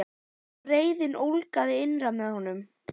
Og reiðin ólgaði innra með honum.